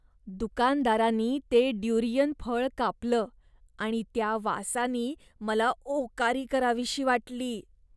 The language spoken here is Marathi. दुकानदारानी ते ड्युरियन फळ कापलं आणि त्या वासानी मला ओकारी करावीशी वाटली.